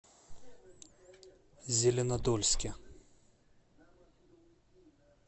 зеленодольске